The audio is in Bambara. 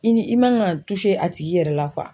I ni i man ka a tigi yɛrɛ la